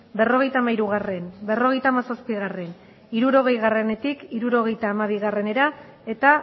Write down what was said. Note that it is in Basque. berrogeita hamairu berrogeita hamazazpi hirurogeitik hirurogeita hamabira eta